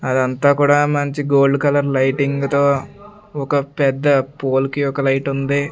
అదంతా కూడా మంచి గోల్డ్ కలర్ లైటింగు తో ఒక పెద్ద పోల్ కి ఒక లైటుంది .